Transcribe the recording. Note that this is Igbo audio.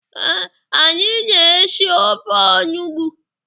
Ee, anyị na-esi ofe onugbu.